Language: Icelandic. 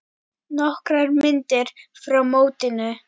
Nokkrar myndir frá mótinu.